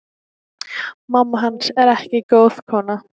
Mamma hans er ekki góð kona.